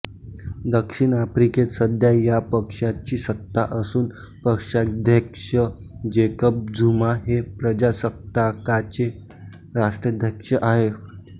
दक्षिण आफ्रिकेत सध्या या पक्षाची सत्ता असून पक्षाध्यक्ष जेकब झुमा हे प्रजासत्ताकाचे राष्ट्राध्यक्ष आहेत